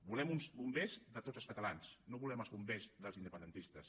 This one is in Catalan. volem uns bombers de tots els catalans no volem els bombers dels independentistes